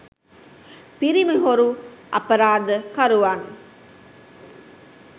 පිරිමි හොරු අපරාධ කරුවන්